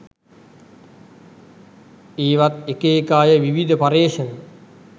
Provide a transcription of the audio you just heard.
ඒවත් එක එක අය විවිධ පරියේෂණ